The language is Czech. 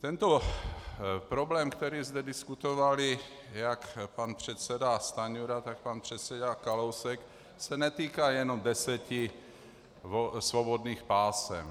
Tento problém, který zde diskutovali jak pan předseda Stanjura, tak pan předseda Kalousek, se netýká jenom deseti svobodných pásem.